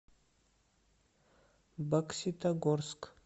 бокситогорск